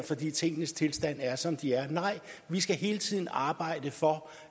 fordi tingenes tilstand er som de er nej vi skal hele tiden arbejde for